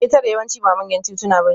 Ketare yawanci ba manyan tituna bane